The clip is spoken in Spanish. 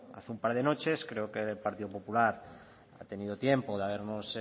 hace un par de noches creo que el partido popular ha tenido tiempo de habernos